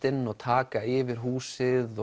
inn og taka yfir húsið